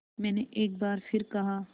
मैंने एक बार फिर कहा